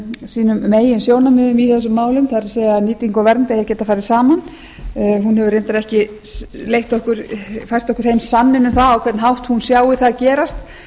sínum meginsjónarmiðum í þessum málum það er að nýting og vernd eigi að geta farið saman hún hefur reyndar ekki fært okkur heim sanninn um það á hvern hátt hún sjái það gerast